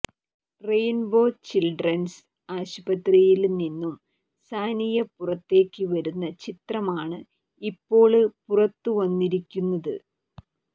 rainbow children's ആശുപത്രിയില് നിന്നും സാനിയ പുറത്തേക്ക് വരുന്ന ചിത്രമാണ് ഇപ്പോള് പുറത്തുവന്നിരിക്കുന്നത്